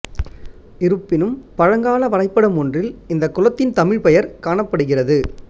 இருப்பினும் பழங்கால வரைப்படம் ஒன்றில் இந்த குளத்தின் தமிழ் பெயர் காணப்படுகிறது